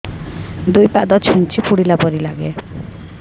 ଦୁଇ ପାଦ ଛୁଞ୍ଚି ଫୁଡିଲା ପରି ଲାଗେ